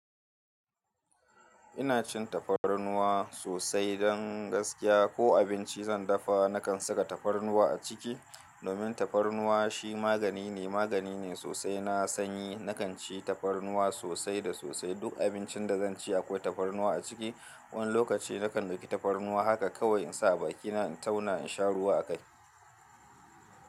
Ina cin tafarnuwa sosai don gaskiya. Ko abinci zan dafa, nakan saka tafarnuwa a ciki. Domin tafarnuwa shi magani ne, magani ne sosai. Na sanyi, na kan ci tafarnuwa sosai da sosai. Duk abincin da zan ci akwai tafarnuwa a ciki. Wani lokaci na kan dauki tafarnuwa haka kawai in sa a bakina in tauna in sha ruwa a kai.